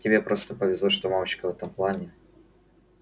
тебе просто повезло что мамочка в этом плане